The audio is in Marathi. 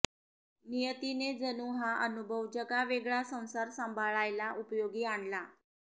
नियतीने जणू हा अनुभव जगावेगळा संसार सांभाळायला उपयोगी आणला